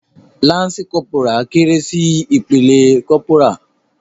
Lansi kọ́pórá kéré sí ìpele kọ́pórà.